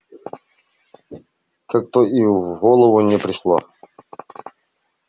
как-то и в голову не пришло